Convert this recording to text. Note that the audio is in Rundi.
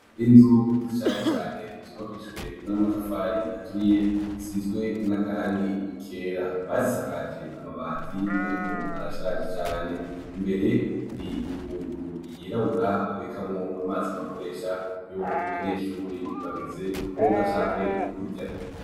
Inzu zishaje cane z'ubakijwe n'amatafari aturiye zisizwe n'akarangi kera bazishakaje amabati ariko arashaje cane imbere Hari ingunguru yirabura babikamwo amazi bakoresha iyo abanyeshure bageze kwoga canke kurya.